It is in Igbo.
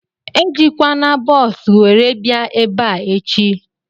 Ejikwana bọọsu were bịa ebea echi!